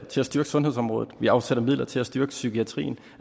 til at styrke sundhedsområdet vi afsætter midler til at styrke psykiatrien